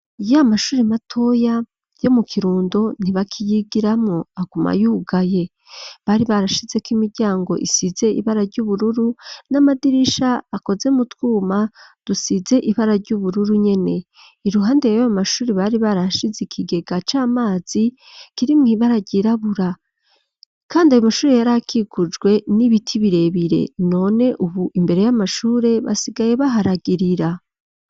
Iya mashuri matoya yo mu kirundo ntibakiyigiramwo agaumayugaye bari barashizeko imiryango isize ibara ry'ubururu n'amadirisha akoze mu twuma dusize ibara ry'ubururu nyene iruhande yyo bamashuri bari barashize ikigega c'amazi kiri mwibararyirabura, kandi ayo mashure yari akikujwe n'ibiti birebire none, ubu imbere y'amashure basigaye baharagirira.